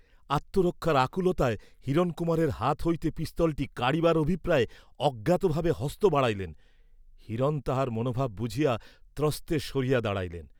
আত্মরক্ষার আকুলতায় হিরণকুমারের হাত হইতে পিস্তলটা কাড়িবার অভিপ্রায়ে অজ্ঞাতভাবে হস্ত বাড়াইলেন, হিরণ তাঁহার মনোভাব বুঝিয়া ত্রস্তে সরিয়া দাঁড়াইলেন।